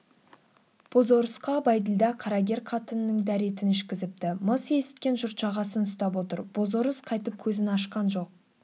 бозорысқа бәйділда қарагер қатынының дәретін ішкізіпті-мыс есіткен жұрт жағасын ұстап отыр бозорыс қайтып көзін ашқан жоқ